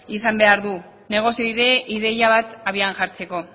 izan behar du negozio ideia bat abian jartzeko